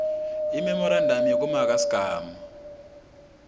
imemorandamu yekumaka sigaba